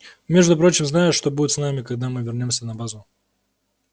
между прочим знаешь что будет с нами когда мы вернёмся на базу